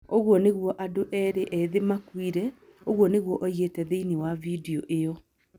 "Ũguo nĩguo andũ erĩ ethĩ maakuire", ũguo nĩguo oigĩte thĩinĩ wa video ĩyo.